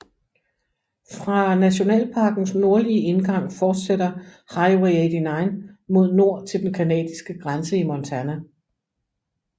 Fra nationalparkens nordlige indgang fortsætter Highway 89 mod nord til den canadiske grænse i Montana